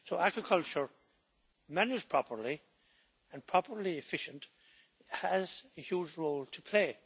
So aquaculture, managed properly and properly efficient, has a huge role to play.